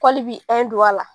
a ye n don a la